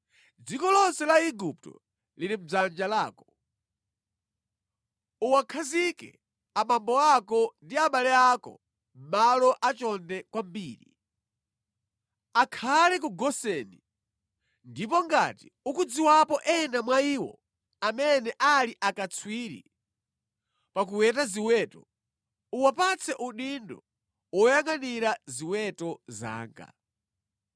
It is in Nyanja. Dziko lonse la Igupto lili mʼdzanja lako. Uwakhazike abambo ako ndi abale ako mʼmalo achonde kwambiri. Akhale ku Goseni. Ndipo ngati ukudziwapo ena mwa iwo amene ali akatswiri pa kuweta ziweto, uwapatse udindo woyangʼanira ziweto zanga.”